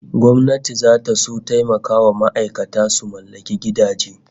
Gwamnati zata son taimakawa ma'aikata su mallaki gidaje